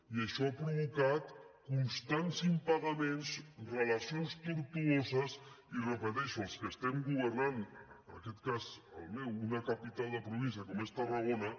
i això ha provocat constants impagaments relacions tortuoses i ho repeteixo els que estem governant en aquest cas el meu una capital de província com és tarragona